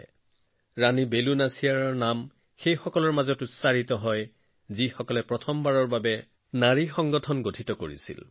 তেওঁলোকৰ মাজত ৰাণী বেলু নাচিয়াৰৰ নাম উচ্চাৰণ যিয়ে এটা সৰ্বমহিলা সেনা গোট গঠন কৰিছিল